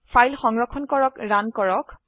file সংৰক্ষণ কৰক run কৰক